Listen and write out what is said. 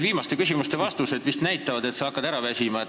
Viimaste küsimuste vastused näitavad, et sa hakkad vist ära väsima.